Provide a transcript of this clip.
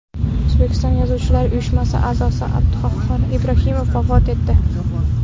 O‘zbekiston Yozuvchilar uyushmasi a’zosi Abduqahhor Ibrohimov vafot etdi.